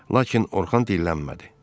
Lakin Orxan dillənmədi.